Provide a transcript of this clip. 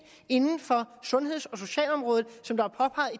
inden for sundheds og socialområdet som der